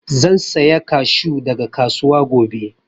Zan saya kashu daga kasuwa gobe